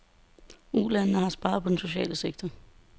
Ulandene har sparet på den sociale sektor.